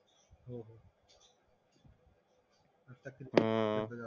हं